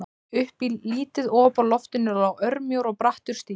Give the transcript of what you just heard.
Upp í lítið op á loftinu lá örmjór og brattur stigi.